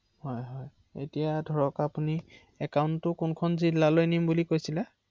অ অ